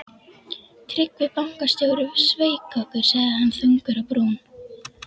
Tryggvi bankastjóri sveik okkur, sagði hann þungur á brún.